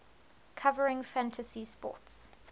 covering fantasy sports